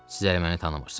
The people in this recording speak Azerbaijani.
Siz hələ məni tanımırsız.